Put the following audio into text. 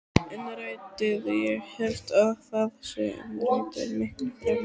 Innrætið, ég held að það sé innrætið miklu fremur.